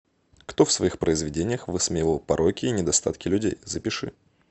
кто в своих произведениях высмеивал пороки и недостатки людей запиши